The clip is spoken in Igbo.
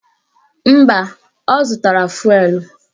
Mba, ọ zụtara fụelụ